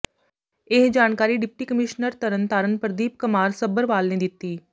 ਇਹ ਜਾਣਕਾਰੀ deputy commissioner Tarn Taran Pradeep ਕਮਾਰ ਸੱਭਰਵਾਲ ਨੇ ਦਿੱਤੀ